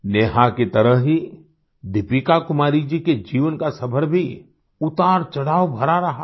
नेहा की तरह ही दीपिका कुमारी जी के जीवन का सफ़र भी उतारचढ़ाव भरा रहा है